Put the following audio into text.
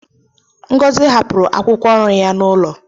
Ngozi hapụrụ akwụkwọ ọrụ ya n'ụlọ.